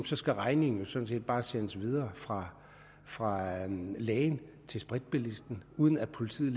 så skal regningen jo sådan set bare sendes videre fra fra lægen til spritbilisten uden at politiet